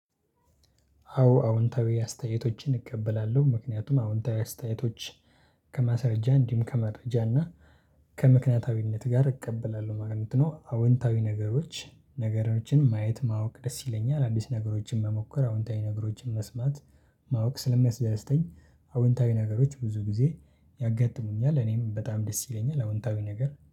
አዎ አዎንታዊ አስተያየቶችን እቀበላለሁ ምክንያቱም አዎንታዊ አስተያየቶች ከማስረጃ እንዲሁም ከመረጃ እና ከምክንያታዊነት ጋር እቀበላለሁ ማለት ነው። አዎንታዊ ነገሮች ነገሮችን ማየት ማወቅ ደስ ይለኛል። አዲስ ነገሮችን መሞከር አዎንታዊ ነገሮችን መስማት ማወቅ ስለሚያስደስተኝ አዎንታዊ ነገሮች ብዙ ጊዜ ያጋጥሙኛል እኔም በጣም ደስ ይለኛል። አዎንታዊ ነገር